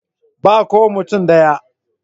Ba ko mutum ɗaya.